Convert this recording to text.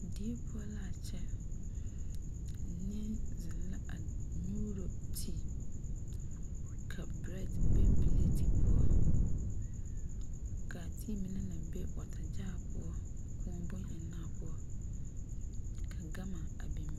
Die poɔ la a kyɛ nie zeŋ la a nyuuro tea ,ka bread be pelɛɛti poɔ ka a tea mine naŋ be water jar poɔ kóɔ bon ennaa poɔ ka ganma a be .